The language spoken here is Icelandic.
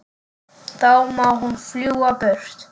Þá má hún fljúga burtu.